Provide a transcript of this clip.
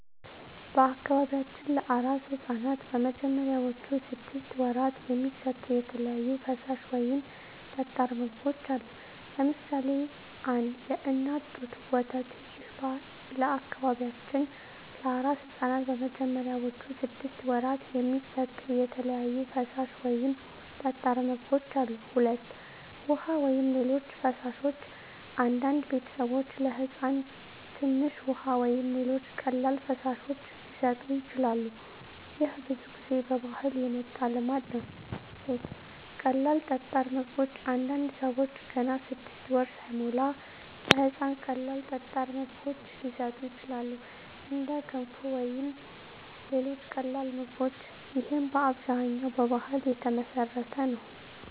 በአካባቢያችን ለአራስ ሕፃናት በመጀመሪያዎቹ ስድስት ወራት የሚሰጡ የተለያዩ ፈሳሽ ወይም ጠጣር ምግቦች አሉ። ለምሳሌ 1. የእናት ጡት ወተት ይህ ለበአካባቢያችን ለአራስ ሕፃናት በመጀመሪያዎቹ ስድስት ወራት የሚሰጡ የተለያዩ ፈሳሽ ወይም ጠጣር ምግቦች አሉ። 2. ውሃ ወይም ሌሎች ፈሳሾች አንዳንድ ቤተሰቦች ለሕፃን ትንሽ ውሃ ወይም ሌሎች ቀላል ፈሳሾች ሊሰጡ ይችላሉ። ይህ ብዙ ጊዜ ከባህል የመጣ ልማድ ነው። 3. ቀላል ጠጣር ምግቦች አንዳንድ ሰዎች ገና 6 ወር ሳይሞላ ለሕፃን ቀላል ጠጣር ምግቦች ሊሰጡ ይችላሉ፣ እንደ ገንፎ ወይም ሌሎች ቀላል ምግቦች። ይህም በአብዛኛው በባህል የተመሠረተ ነው።